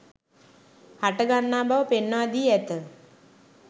හටගන්නා බව පෙන්වා දී ඇත